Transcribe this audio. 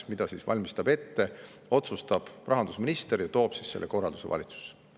Selle korralduse valmistab ette ja seda otsustab rahandusminister ning toob siis selle korralduse valitsusse.